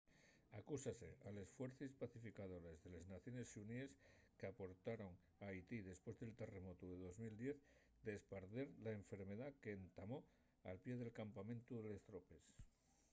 acúsase a les fuercies pacificadores de les naciones xuníes qu’aportaron a haití depués del terremotu de 2010 d’esparder la enfermedá qu’entamó al pie del campamentu de les tropes